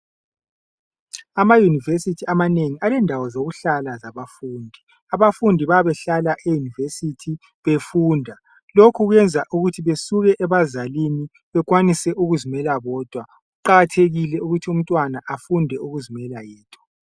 Amayunivesithi amanengi alendawo zokuhlala zabafundi. Abafundi bayabe behlala eyunivesithi befunda lokhu kuyenza ukuthi besuke abazalini bekwanise ukuzimela bodwa. Kuqakathekile ukuthi umntwana afunde ukuzimela yedwa.